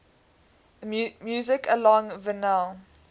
music alongside vinyl